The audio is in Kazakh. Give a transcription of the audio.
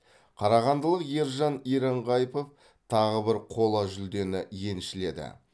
қарағандылық ержан еренғайыпов тағы бір қола жүлдені еншіледі